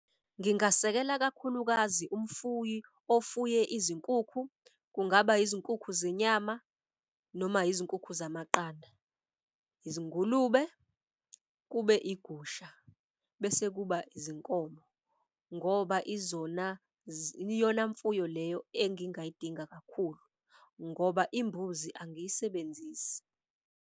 Ngingasekela kakhulukazi umfuyi ofuye izinkukhu, kungaba izinkukhu zenyama noma izinkukhu zamaqanda, izingulube kube igusha. Bese kuba izinkomo ngoba izona iyona mfuyo leyo engingayidinga kakhulu ngoba imbuzi angiyisebenzisi.